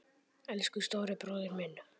Elsku stóri bróðir minn.